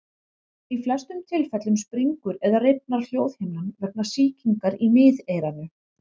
Í flestum tilfellum springur eða rifnar hljóðhimnan vegna sýkingar í miðeyranu.